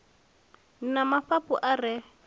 ni na mafhafhu a re